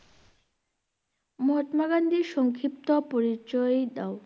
মহত্মা গান্ধীর সংক্ষিপ্তা পরিচয় দাও।